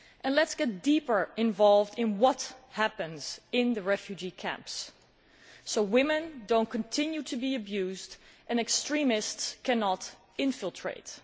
Let us get more deeply involved in what happens in the refugee camps, so women do not continue to be abused and extremists cannot infiltrate.